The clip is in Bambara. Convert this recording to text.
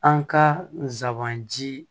An ka zanban ji